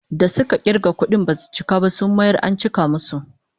Da suka kirga kudin basu cika ba, sun mayar an cika musu